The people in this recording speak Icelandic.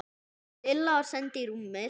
Lilla var send í rúmið.